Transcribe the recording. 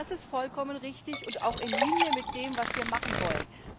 Das ist vollkommen richtig und auch in Linie mit dem, was wir machen wollen.